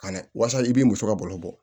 Ka na waasa i b'i muso ka balo bɔ